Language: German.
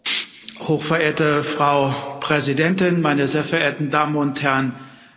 Frau Präsidentin, meine sehr verehrten Damen und Herren Abgeordneten!